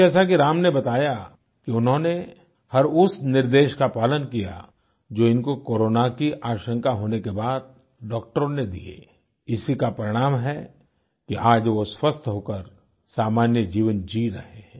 जैसा कि राम ने बताया कि उन्होंने हर उस निर्देश का पालन किया जो इनको कोरोना की आशंका होने के बाद डॉक्टरों ने दिए इसी का परिणाम है कि आज वो स्वस्थ होकर सामान्य जीवन जी रहे हैं